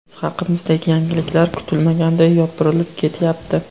Biz haqimizdagi yangiliklar kutilmaganda yopirilib ketyapti.